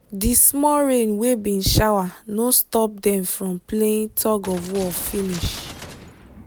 di small rain wey bin shower no stop dem from playing tug of war finish